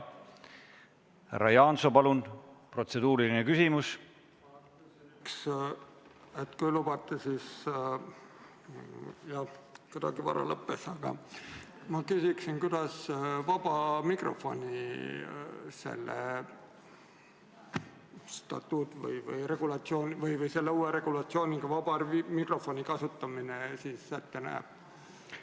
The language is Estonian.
Või selle uue regulatsiooniga, kuidas vaba mikrofoni kasutamine siis ette on nähtud?